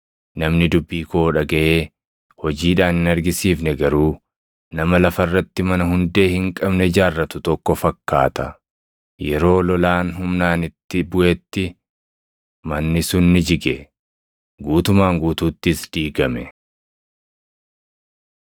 Namni dubbii koo dhagaʼee hojiidhaan hin argisiifne garuu nama lafa irratti mana hundee hin qabne ijaarratu tokko fakkaata. Yeroo lolaan humnaan itti buʼetti manni sun ni jige; guutumaan guutuuttis diigame.”